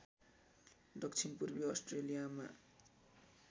दक्षिण पूर्वी अस्ट्रेलियामा